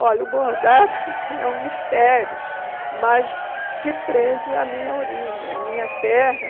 Olha, o bordado é um mistério, mas se prende à minha origem, à minha terra.